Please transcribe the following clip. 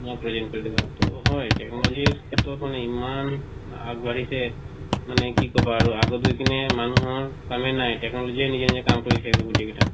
হয় technology ৰ ক্ষেত্ৰত মানে ইমান আগ বাঢ়িছে মানে আৰু কি কবা আৰু আগত গৈ কিনে মানুহৰ কামেই নায় technology এ নিজে নিজে কাম কৰি থাকিব গোটৈকিটা